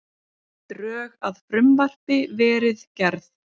Drög að frumvarpi verið gerð